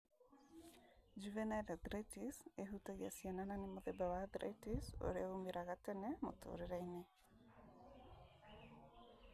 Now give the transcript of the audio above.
Juvenile arthritis ĩhutagia ciana na nĩ mũtheba wa arthritis ũrĩa umĩraga tene mũtũrĩre-inĩ.